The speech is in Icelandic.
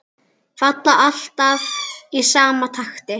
Falla alltaf í sama takti.